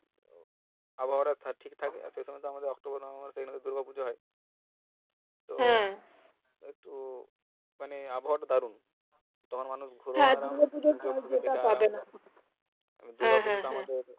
আবহাওয়াটা সঠিক থাকে সেই সময় তো আমাদের অক্টোবর নভেম্বর মাসে দূর্গা পুজো হয় একটু মানে আবহাওয়াটা দারুন